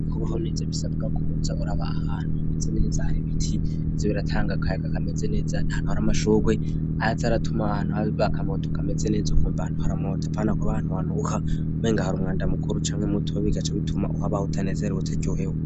kubaho neza bisabwa ko hutza uraba ahantu hameze neza hari biti ze biratanga kayaka kameze neza nhantu hari amashukwe arite aratuma ahantu halbrk amoto kameze neza ukumbantu hara moto apana ko abahantu hant uka menga hara umwanda mukuru camwe muto wabigace wituma uhabaho utanezere w utajoheho